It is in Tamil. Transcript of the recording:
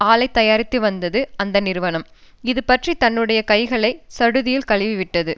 ஆலை தயாரித்துவந்தது அந்த நிறுவனம் இது பற்றி தன்னுடைய கைகளை சடுதியில் கழுவி விட்டது